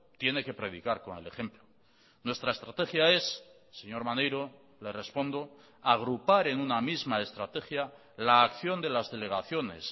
tiene que predicar con el ejemplo nuestra estrategia es señor maneiro le respondo agrupar en una misma estrategia la acción de las delegaciones